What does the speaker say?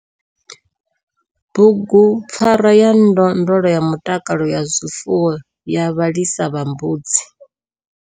BUGUPFARWA YA NDONDLO YA MUTAKALO WA ZWIFUWO YA VHALISA VHA MBUDZI.